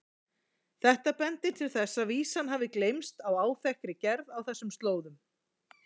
Þetta bendir til þess að vísan hafi geymst í áþekkri gerð á þessum slóðum.